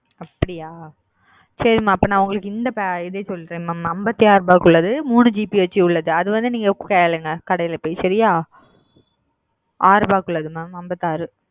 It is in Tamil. அப்டியா செரிமா உங்களுக்கு இந்த இதே சொல்ற ம ஐம்பதியருபா உள்ளது மூணு ஜி பி உள்ளது கடியால பொய் கேளுங்க சரியாய் ஐம்பதியருபா உள்ளது ம